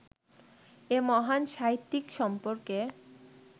এ মহান সাহিত্যিক সম্পর্কে